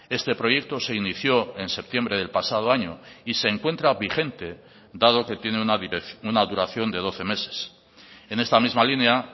este proyecto se inició en septiembre del pasado año y se encuentra vigente dado que tiene una duración de doce meses en esta misma línea